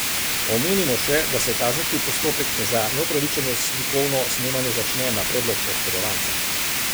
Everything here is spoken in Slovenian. Omenimo še, da se kazenski postopek za neupravičeno slikovno snemanje začne na predlog oškodovanca.